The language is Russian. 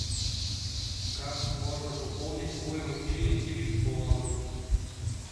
как можно пополнить свой мобильный телефон